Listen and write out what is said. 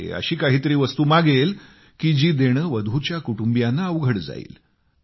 अशी काही तरी वस्तू मागेल जी वधूच्या कुटुंबियांना अवघड जाईल